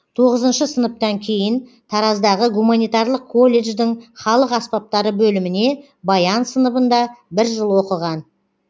тоғызыншы сыныптан кейін тараздағы гуманитарлық колледждің халық аспаптары бөліміне баян сыныбында бір жыл оқыған